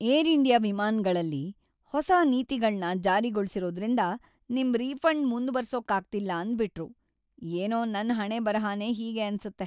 Air India ವಿಮಾನಗಳಲ್ಲಿ ಹೊಸ ನೀತಿಗಳ್ನ ಜಾರಿಗೊಳ್ಸಿರೋದ್ರಿಂದ ನಿಮ್ ರೀಫಂಡ್‌ ಮುಂದ್ವರ್ಸೋಕಾಗ್ತಿಲ್ಲ ಅಂದ್ಬಿಟ್ರು, ಏನೋ ನನ್‌ ಹಣೆಬರಹನೇ ಹೀಗೆ ಅನ್ಸತ್ತೆ.